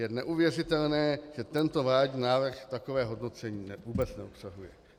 Je neuvěřitelné, že tento vládní návrh takové hodnocení vůbec neobsahuje!